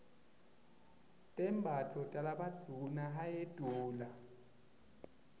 tembatfo talabadvuna hyedula